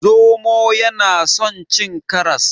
Zomo yana son cin karas.